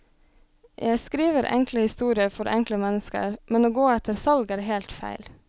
Jeg skriver enkle historier for enkle mennesker, men å gå etter salg er helt feil.